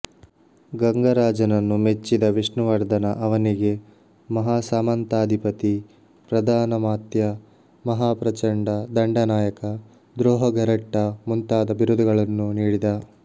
ಗಂಗರಾಜನನ್ನು ಮೆಚ್ಚಿದ ವಿಷ್ಣುವರ್ಧನ ಅವನಿಗೆ ಮಹಾಸಾಮಂತಾಧಿಪತಿ ಪ್ರಧಾನಮಾತ್ಯ ಮಹಾಪ್ರಚಂಡ ದಂಡನಾಯಕ ದ್ರೋಹಘರಟ್ಟ ಮುಂತಾದ ಬಿರುದುಗಳನ್ನು ನೀಡಿದ